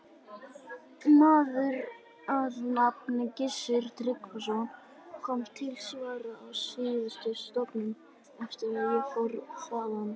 Maður að nafni Gissur Tryggvason kom til starfa á sýsluskrifstofuna eftir að ég fór þaðan.